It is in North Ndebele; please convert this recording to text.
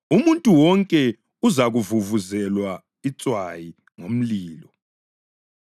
Umuntu wonke uzakuvuvuzelwa itswayi ngomlilo.